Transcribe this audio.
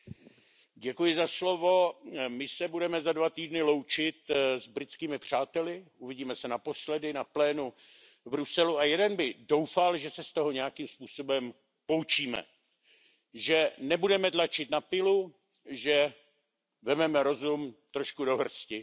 Paní předsedající, my se budeme za dva týdny loučit s britskými přáteli, uvidíme se naposledy na plénu v Bruselu a jeden by doufal, že se z toho nějakým způsobem poučíme, že nebudeme tlačit na pilu, že vezmeme rozum do hrsti.